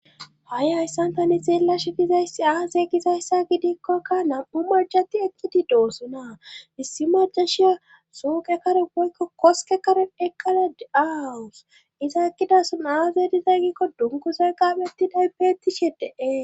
Ha'i hyssantani xeela shigizayssi aaze gizayssa gidikkokka nam7u marjati ekkidi doosona missi majashiya suuqe kare boykko koske karen eqqala de7aawus iza ekkidason aaze dizay gikko dunkuza qaabettiday beettishe deee